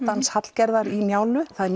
dans Hallgerðar í Njálu það er